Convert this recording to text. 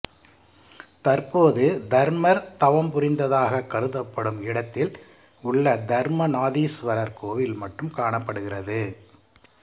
தற்போது தர்மர் தவம்புரிந்ததாகக் கருதப்படும் இடத்தில் உள்ள தர்மநாதீஸ்வரர் கோயில் மட்டும் காணப்படுகிறது